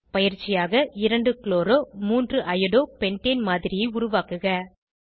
பயிற்சியாக 2 chloro 3 iodo pentane மாதிரியை உருவாக்குக